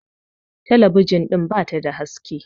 tabijin din ba ta da haske